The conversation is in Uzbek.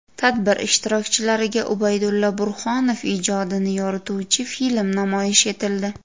Tadbir ishtirokchilariga Ubaydulla Burhonov ijodini yorituvchi film namoyish etildi.